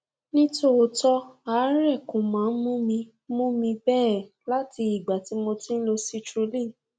nítòótọ àárẹ kò máa ń mú mi mú mi bẹẹ láti ìgbà tí mo ti ń lo citrulline